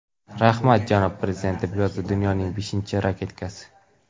Rahmat, janob prezident!” deb yozdi dunyoning beshinchi raketkasi.